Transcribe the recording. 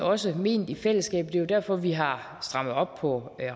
også ment i fællesskab og jo derfor vi har strammet op på